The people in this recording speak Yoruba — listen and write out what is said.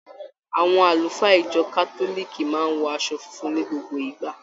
Àwọn àlùfáà ìjọ kátólìkì máa ń wọ aṣọ funfun ní gbogbo ìgbà.